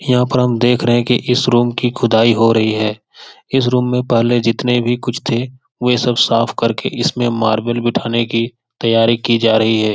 यहाँ पर हम देख रहे है की इस रूम की खुदाई हो रही है इस रूम में पहले जितने भी कुछ थे वो सब साफ करके इसमें मार्बल बैठाने के तैयारी की जा रही है।